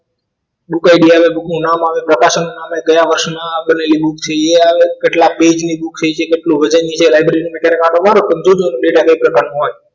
book day આવે book નું નામ આવે પ્રકાશન ના કયા વર્ષમાં બનેલી book છે એ આવે કેટલા પેજ ની book છે કેટલું વજન છે library નું મીટર કાંટો કમજો data બે પ્રકારનું હોય